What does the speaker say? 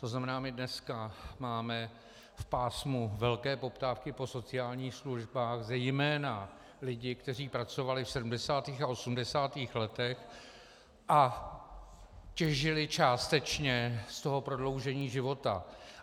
To znamená, my dneska máme v pásmu velké poptávky po sociálních službách zejména lidi, kteří pracovali v 70. a 80. letech a těžili částečně z toho prodloužení života.